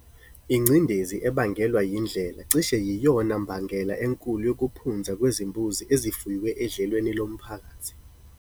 Ingcindezi ebangelwa yindlela cishe yiyona mbangela enkulu yokuphunza kwezimbuzi ezifuywe edlelweni lomphakathi.